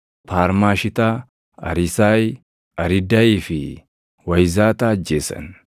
Paarmaashitaa, Ariisayi, Ariidayii fi Wayizaataa ajjeesan;